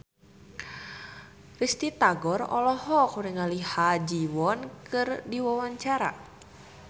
Risty Tagor olohok ningali Ha Ji Won keur diwawancara